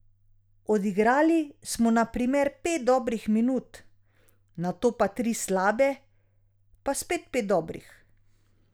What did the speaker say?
Odigrali smo na primer pet dobrih minut, nato pa tri slabe, pa spet pet dobrih ...